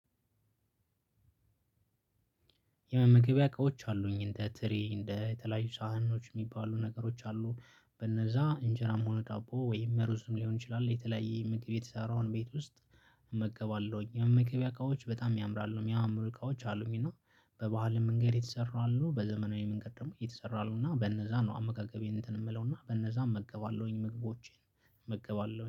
የመመገቢያ እቃዎች አሉኝ እንደ ትሪ እንደ የተለያዩ ሳህኖች የሚባሉ ነገሮች አሉ በነዛ እንጀራም ሆነ ዳቦ ወይም ሩዝም ሊሆን ይችላል የተለያየ ምግብ የተሰራውን ቤት ውስጥ እመገባለሁኝ። የመመገቢያ እቃዎች በጣም ያምራሉ የሚያምሩ እቃዎች አሉኝ። በባህላዊ መንገድ የተሰሩ አሉ በዘመናዊ መንገድ ደግሞ የተሰሩ አሉ። እና በነዛ ነው አመጋገቤን እንትን የምለውና በነዛ እመገባለሁኝ ምግቦቼን እመገባለሁኝ